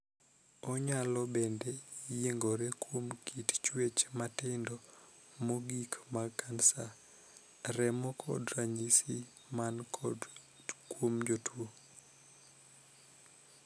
Onyalo bende yiengore kuom kit chuech matindo mogikmag kansa remo kod ranyisi man kuom jatuo.